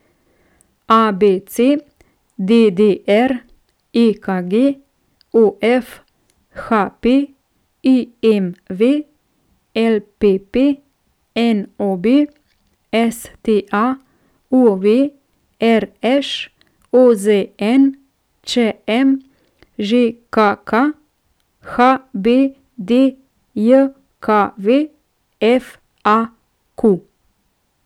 A B C; D D R; E K G; O F; H P; I M V; L P P; N O B; S T A; U V; R Š; O Z N; Č M; Ž K K; H B D J K V; F A Q.